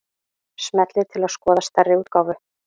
Smellið til að skoða stærri útgáfu